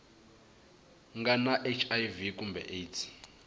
nga na hiv kumbe aids